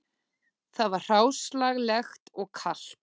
Það var hráslagalegt og kalt